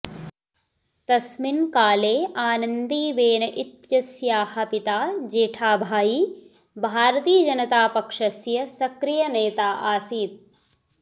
तस्मिन् काले आनन्दीबेन इत्यस्याः पिता जेठाभाई भारतीयजनतापक्षस्य सक्रियनेता आसीत्